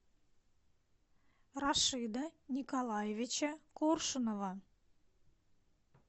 рашида николаевича коршунова